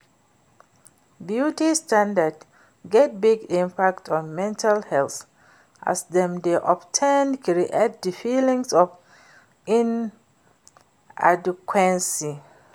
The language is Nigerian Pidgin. Beauty standard get big impact on mental helth as dem dey of ten create di feelings of inadequency.